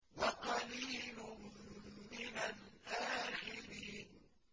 وَقَلِيلٌ مِّنَ الْآخِرِينَ